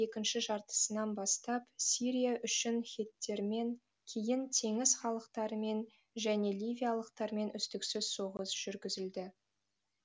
екінші жартысынан бастап сирия үшін хеттермен кейін теңіз халықтарымен және ливиялықтармен үздіксіз соғыс жүргізілді